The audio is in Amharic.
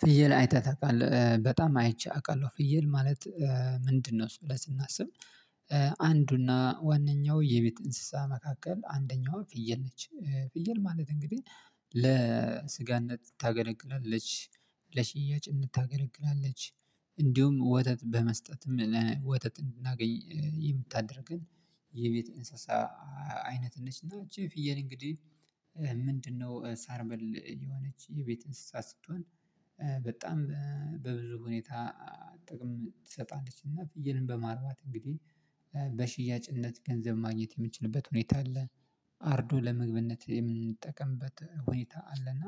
ፍየል አይተህ ታቃለህ በጣም አይቼ አውቃለሁ። ፍየል ማለት ምንድን ነው እሱ ብለን ስናስብ? አንዱ እና ዋነኛው የቤት እንስሳ መካከል አንደኛው ፍየል ነች። ፍየል ማለት እንግዲህ ለስጋነት ታገለግላለች። ለሽያጭነት ታገለግላለች። እንዲሁም ወተት በመስጠትም ወተት እንድናገኝ የምታደርገን የቤት እንስሳ። አይነት ነች እና እቺ ፍየል እንግዲህ ምንድን ነው ሳር በል የሆነች የቤት እንስሳት ስትሆን። በጣም በብዙ ሁኔታ ጥቅም ትሰጣለችና ፍየልን በማርባት እንግዲህ በሽያጭነትገንዘብ ማግኘት የምንችልበት ሁኔታ አለ። አርዶ ለምግብነት የምንጠቀምበት ሁኔታ አለና።